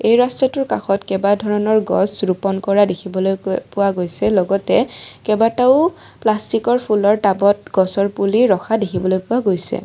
এই ৰাস্তাটোৰ কাষত কেইবাধৰণৰ গছ ৰূপন কৰা দেখিবলৈ ক পোৱা গৈছে লগতে কেইবাটাও প্লাষ্টিকৰ ফুলৰ টাবত গছৰ পুলি ৰখা দেখিবলৈ পোৱা গৈছে।